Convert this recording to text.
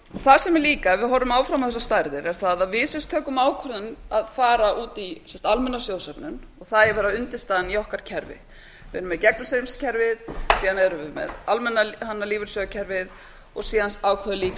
það sem er líka ef við horfum áfram á þessar stærðir er það að við sem tökum ákvörðun að fara út í almenna sjóðsöfnun og það eigi að vera undirstaðan í okkar kerfi við erum með gegnumstreymiskerfið síðan erum við með almenna lífeyrissjóðakerfið og síðan ákveðum líka